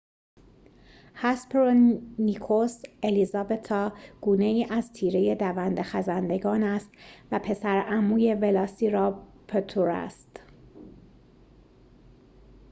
هسپرونیکوس الیزابتا گونه‌ای از تیره دونده‌خزندگان است و پسرعموی ولاسیراپتور است